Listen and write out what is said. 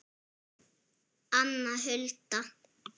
Anna Hulda.